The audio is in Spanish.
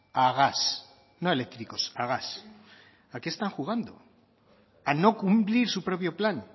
a gas no eléctricos a gas a qué están jugando a no cumplir su propio plan